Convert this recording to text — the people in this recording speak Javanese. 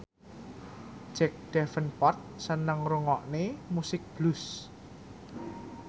Jack Davenport seneng ngrungokne musik blues